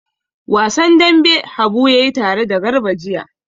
Wasan dambe Habu ya yi tare da Garba jiya.